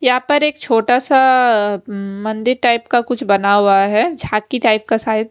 यहां पर एक छोटा सा मंदिर टाइप का कुछ बना हुआ है झांकी टाइप का शायद --